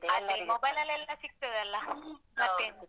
ಅದೇ mobile ಲ್ಲೆಲ್ಲ ಸಿಗ್ತದಲ್ಲ ಪ್ರತಿಯೊಂದು